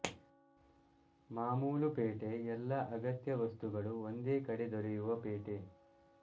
ಮಾಮೂಲು ಪೇಟೆಎಲ್ಲಾ ಅಗತ್ಯ ವಸ್ತುಗಳು ಒಂದೇ ಕಡೆ ದೊರೆಯುವ ಪೇಟೆ